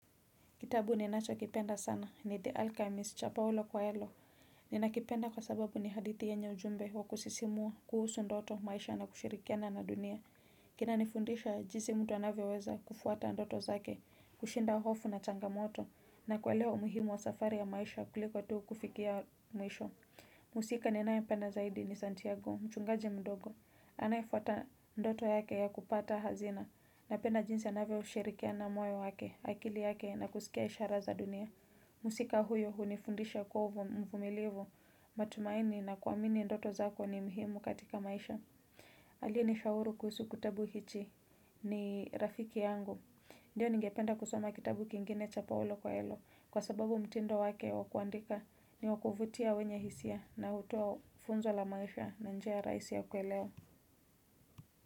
Kitabu ni nacho kipenda sana ni The Alchemist, cha Paulo Coelho. Ni nakipenda kwa sababu ni hadithi yenye ujumbe wa kusisimua, kuhusu ndoto, maisha na kushirikiana na dunia. Kina nifundisha jinsi mtu anavyoweza kufuata ndoto zake, kushinda hofu na changamoto, na kuelewa umuhimu wa safari ya maisha kuliko tu kufikia mwisho. Mhusika ninaye penda zaidi ni Santiago, mchungaji mdogo. Anayefuata ndoto yake ya kupata hazina. Napenda jinsi anavyo sherekea moyo wake, akili yake na kusikia ishara za dunia. Mhusika huyo hunifundisha kuwa mvumilivu. Matumaini na kuamini ndoto zako ni mhimu katika maisha. Aliye ni shauri kuhusu kutabu hichi. Ni rafiki yangu. Ndiyo ningependa kusoma kitabu kingine cha Paulo Coelho. Kwa sababu mtindo wake wakuandika ni wakuvutia wenye hisia na hutua funzo la maisha na njia rahisi ya kuelewa.